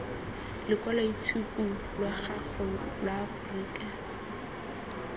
lokwaloitshupu lwa gago lwa aforika